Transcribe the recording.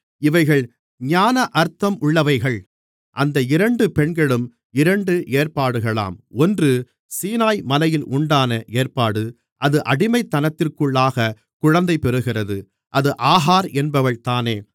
இவைகள் ஞான அர்த்தம் உள்ளவைகள் அந்த இரண்டு பெண்களும் இரண்டு ஏற்பாடுகளாம் ஒன்று சீனாய்மலையில் உண்டான ஏற்பாடு அது அடிமைத்தனத்திற்குள்ளாகக் குழந்தைப் பெறுகிறது அது ஆகார் என்பவள் தானே